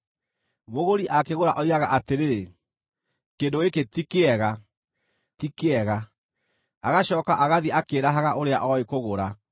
Mũgũri akĩgũra oigaga atĩrĩ, “Kĩndũ gĩkĩ ti kĩega, ti kĩega!” Agacooka agathiĩ akĩĩrahaga ũrĩa oĩ kũgũra.